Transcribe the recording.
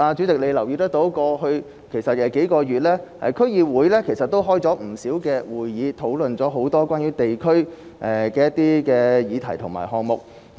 代理主席或許也有留意到，區議會在過去數月召開了不少會議，討論了很多關於地區的議題和項目。